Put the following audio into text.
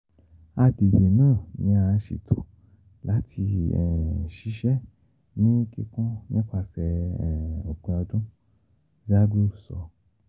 Agbegbe naa ni a ṣeto lati ṣiṣẹ ni kikun nipasẹ opin ọdun, Zaghloul sọ.